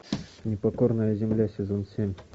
непокорная земля сезон семь